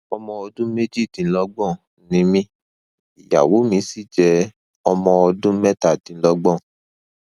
ọmọ ọdún méjìdínlọgbọn ni mí ìyàwó mi sì jẹ ọmọ ọdún mẹtàdínlọgbọn